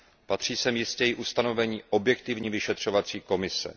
Patří sem jistě i ustanovení objektivní vyšetřovací komise.